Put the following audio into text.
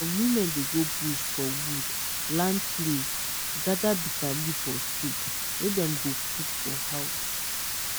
some women dey go bush for wood land place gather bitterleaf for soup wey dem go cook for house.